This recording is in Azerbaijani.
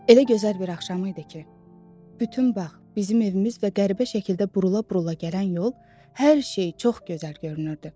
Elə gözəl bir axşam idi ki, bütün bağ, bizim evimiz və qəribə şəkildə burula-burula gələn yol, hər şey çox gözəl görünürdü.